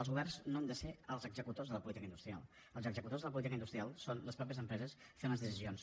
els governs no han de ser els executors de la política industrial els executors de la política industrial són les mateixes empreses fent les decisions